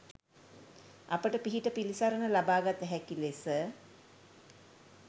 අපට පිහිට පිළිසරණ ලබාගත හැකි ලෙස